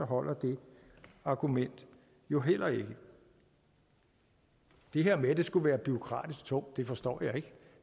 holder det argument jo heller ikke det her med at det skulle være bureaukratisk og tungt forstår jeg ikke